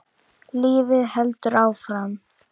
Lífið heldur áfram.